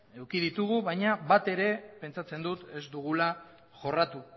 eduki ditugu baina bat ere pentsatzen dut ez dugula jorratu